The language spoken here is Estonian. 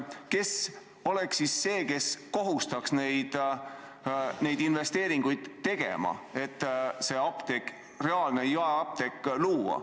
Kes oleks siis see, kes kohustaks neid investeeringuid tegema, et see reaalne jaeapteek luua?